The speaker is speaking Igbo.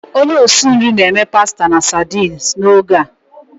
Onye osi nri na-eme pasta na sardines n'oge a.